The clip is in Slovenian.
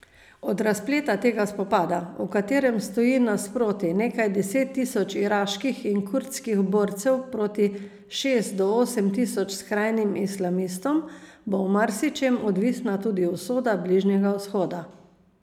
Od razpleta tega spopada, v katerem stoji nasproti nekaj deset tisoč iraških in kurdskih borcev proti šest do osem tisoč skrajnim islamistom, bo v marsičem odvisna tudi usoda Bližnjega vzhoda.